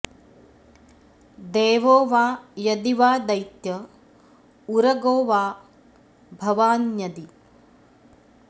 देवो वा यदि वा दैत्य उरगो वा भवान्यदि